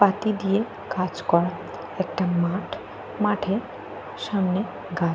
Party দিয়ে কাজ করা একটা মাঠ। মাঠের সামনে গা--